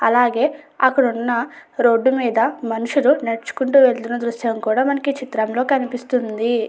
అలాగే అక్కడ ఉన్న రోడ్డు మీద మనుషులు నడుచుకుంటూ వెళుతున్న దృశ్యం కూడా మనకు ఈ చిత్రంలో కనిపిస్తుంది.